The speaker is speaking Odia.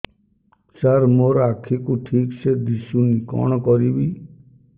ସାର ମୋର ଆଖି କୁ ଠିକସେ ଦିଶୁନି କଣ କରିବି